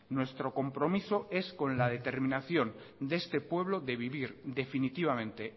nuestro compromiso es con la determinación de este pueblo de vivir definitivamente